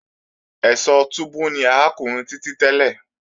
Ẹ̀sọ́ túbú ni arákùnrin Títí tẹ́lẹ̀